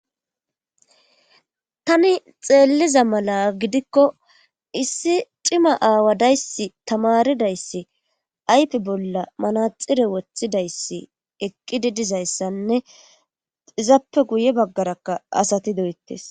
tani xeelliza mala gidikko issi cima aawa dayssi tamaridayssi aype bolla manaxire wothidayssi eqqidi dizayssanne izappe guye baggarakka asati doyettes